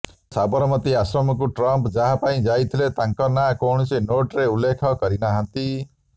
ହେଲେ ସାବରମତୀ ଆଶ୍ରମକୁ ଟ୍ରମ୍ପ ଯାହା ପାଇଁ ଯାଇଥିଲେ ତାଙ୍କ ନାଁ କୌଣସି ନୋଟରେ ଉଲ୍ଲେଖ କରିନାହାନ୍ତି